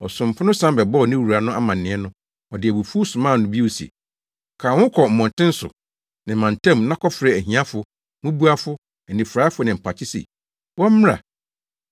“Ɔsomfo no san bɛbɔɔ ne wura no amanneɛ no, ɔde abufuw somaa no bio se, ‘Ka wo ho kɔ mmɔnten so ne mmantam na kɔfrɛfrɛ ahiafo, mmubuafo, anifuraefo ne mpakye sɛ wɔmmra.’